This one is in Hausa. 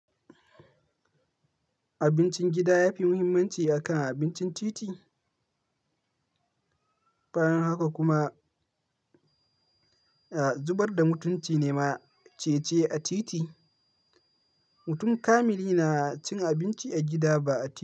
Abincin gida ya fi muhimmanci akan abincin titi. Banin haka kuma, zubar da mutunci ne ma ce ci a titi. Mutum kamili na cin abinci a gida ba a titi.